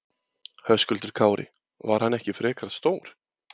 Höskuldur Kári: Var hann ekki frekar stór?